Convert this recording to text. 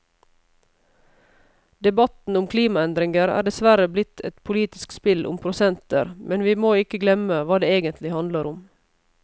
Debatten om klimaendringer er dessverre blitt et politisk spill om prosenter, men vi må ikke glemme hva det egentlig handler om.